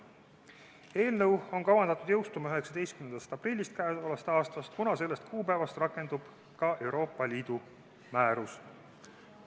Eelnõu on kavandatud jõustuma k.a 19. aprillil, kuna sellest kuupäevast rakendub ka Euroopa Liidu määrus.